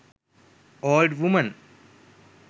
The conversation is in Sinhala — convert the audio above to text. old women